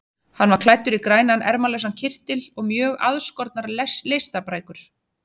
Hann var klæddur í grænan ermalausan kyrtil og mjög aðskornar leistabrækur.